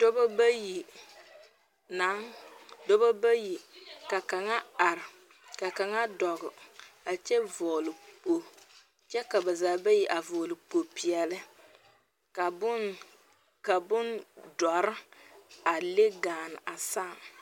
Dɔba bayi naŋ, dɔba bayi ka kaŋa are, ka kaŋa dɔɔ a kyɛ vɔgele kpo kyɛ ka bazaa bayi avɔgele kpo peɛle. Ka bone, ka bone dɔre a le gaane a saam.